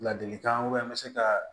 Ladilikan n bɛ se ka